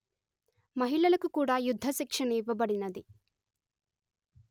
మహిళలకు కూడా యుద్ధ శిక్షణ ఇవ్వబడినది